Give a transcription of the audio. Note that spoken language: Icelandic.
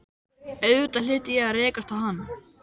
Auðvitað hlyti ég að rekast á hann.